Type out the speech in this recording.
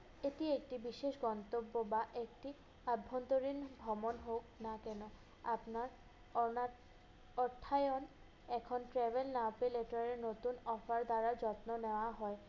এটি একটি বিশেষ গন্তব্য বা একটি অভ্যন্তরীণ ভ্রমণ হোক না কেনো আপনার অনাথ অর্থায়ন এখন travel আপিল letter এ নতুন offer দ্বারা যত্ন নেওয়া হয়।